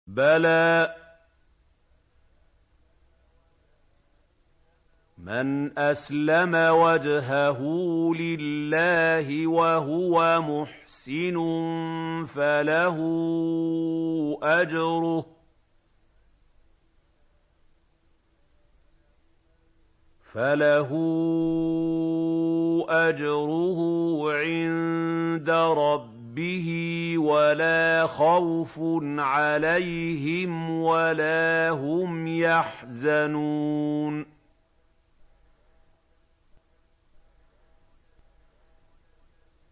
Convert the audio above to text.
بَلَىٰ مَنْ أَسْلَمَ وَجْهَهُ لِلَّهِ وَهُوَ مُحْسِنٌ فَلَهُ أَجْرُهُ عِندَ رَبِّهِ وَلَا خَوْفٌ عَلَيْهِمْ وَلَا هُمْ يَحْزَنُونَ